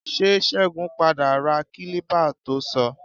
Ṣé Ṣẹ́gun padà ra kílípà to sọ?